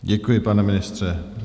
Děkuji, pane ministře.